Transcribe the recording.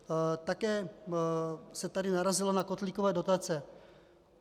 Také se tady narazilo na kotlíkové dotace.